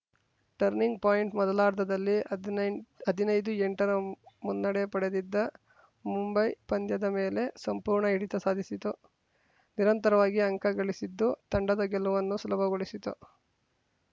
turning point ಮೊದಲಾರ್ಧದಲ್ಲಿ ಹದಿನೆಂಟ್ ಹದಿನೈದುಎಂಟರ ಮುನ್ನಡೆ ಪಡೆದಿದ್ದ ಮುಂಬೈ ಪಂದ್ಯದ ಮೇಲೆ ಸಂಪೂರ್ಣ ಹಿಡಿತ ಸಾಧಿಸಿತು ನಿರಂತರವಾಗಿ ಅಂಕ ಗಳಿಸಿದ್ದು ತಂಡದ ಗೆಲುವನ್ನು ಸುಲಭಗೊಳಿಸಿತು